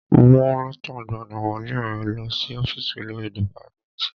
Mú lẹ́tà ìgbaniwọlé ẹ lọ sí ọ́fìsì olórí dìpátmẹ́tì.